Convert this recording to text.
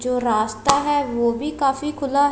जो रास्ता है वो भी काफी खुला--